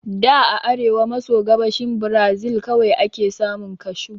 Da a arewa maso gabashin Brazil kawai ake samun Kashu